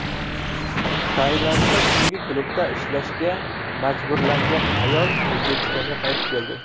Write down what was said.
Tailandda tungi klubda ishlashga majburlangan ayol O‘zbekistonga qaytib keldi.